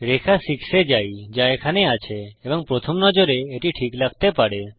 রেখা 6 এ যাই যা এখানে আছে এবং প্রথম নজরে এটি ঠিক লাগতে পারে